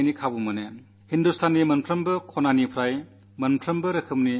സാമൂഹ്യ മാധ്യമങ്ങളിൽ നിന്ന് അടുത്തകാലത്തായി എനിക്ക് വളരെയേറെ കാര്യങ്ങൾ അറിയാൻ അവസരം ലഭിക്കുന്നു